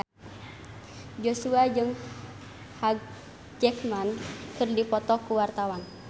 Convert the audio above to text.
Joshua jeung Hugh Jackman keur dipoto ku wartawan